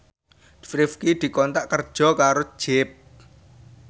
Rifqi dikontrak kerja karo Jeep